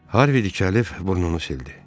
Harvi tikəlir, burnunu sildi.